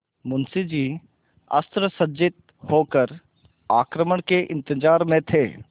मुंशी जी अस्त्रसज्जित होकर आक्रमण के इंतजार में थे